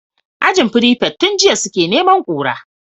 Ajin prefect tun jiya suke neman kura